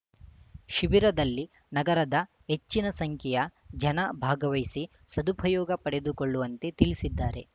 ಶಿಬಿರದಲ್ಲಿ ನಗರದ ಹೆಚ್ಚಿನ ಸಂಖ್ಯೆಯ ಜನ ಭಾಗವಹಿಸಿ ಸದುಪಯೋಗ ಪಡೆದುಕೊಳ್ಳುವಂತೆ ತಿಳಿಸಿದ್ದಾರೆ